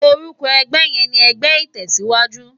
Òrúkò ègbè yèn ni ègbè itèsiwájú